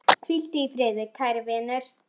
Hvíldu í friði, kæri vinur.